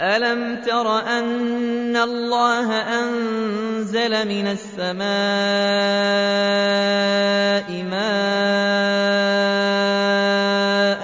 أَلَمْ تَرَ أَنَّ اللَّهَ أَنزَلَ مِنَ السَّمَاءِ مَاءً